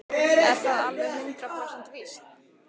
Er það alveg hundrað prósent víst?